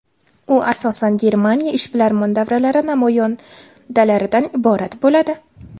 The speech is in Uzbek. U asosan Germaniya ishbilarmon davralari namoyandalaridan iborat bo‘ladi.